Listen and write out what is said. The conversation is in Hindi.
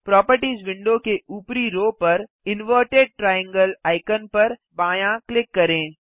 प्रोपर्टिज विंडो के ऊपरी रो पर इनवर्टेड ट्रायंगल आइकन पर बायाँ क्लिक करें